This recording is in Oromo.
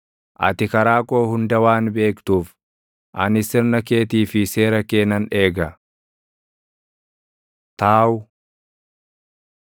Ati karaa koo hunda waan beektuuf, ani sirna keetii fi seera kee nan eega. ת Taaw